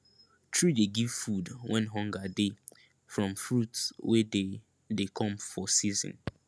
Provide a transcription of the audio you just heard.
tree dey give food when hunger dey from fruit wey dey dey come for season